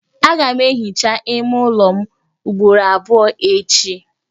Aga m ehicha ime ụlọ m ugboro abụọ echi.